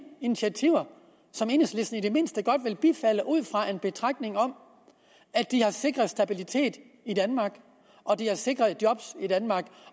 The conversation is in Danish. initiativer som enhedslisten i det mindste godt vil bifalde ud fra en betragtning om at de har sikret stabilitet i danmark og de har sikret job i danmark